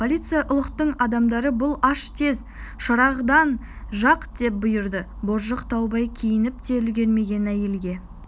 полиция ұлықтың адамдары бұл аш тез шырағдан жақ деп бұйырды боржық таубай киініп те үлгірмеген әйелге